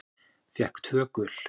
Fékk tvö gul.